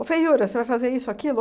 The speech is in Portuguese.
feiura, você vai fazer isso ou aquilo?